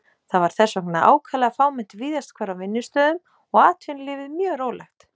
Það var þess vegna ákaflega fámennt víðast hvar á vinnustöðum og atvinnulífið mjög rólegt.